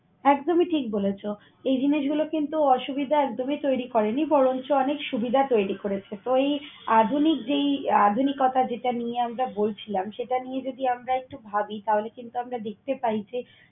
একদমই ঠিক বলেছ। এই জিনিসগুলো কিন্তু অসুবিধা একদমই তৈরি করেনি বরংচ অনেক সুবিধা তৈরি করেছে। তো এই আধুনিক যেই আধুনিকতা যেটা নিয়ে আমরা বলছিলাম সেটা নিয়ে যদি আমরা একটু ভাবি তাহলে কিন্তু আমরা দেখতে পাই যে